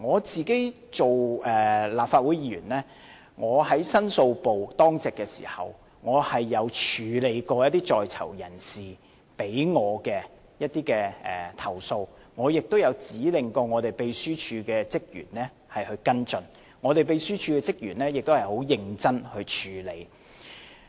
作為立法會議員，我在申訴部當值時，也處理過一些在囚人士提出的投訴，我亦有指令過秘書處職員跟進，而秘書處職員亦很認真地處理。